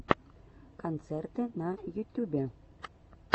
концерты на ютюбе